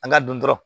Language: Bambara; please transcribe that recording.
An ka dun dɔrɔn